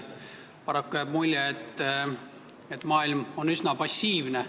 Paraku jääb mulje, et maailm on üsna passiivne.